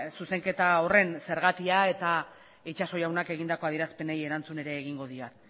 zuzenketa horren zergatia eta itxaso jaunak egindako adierazpenei erantzun ere egingo diet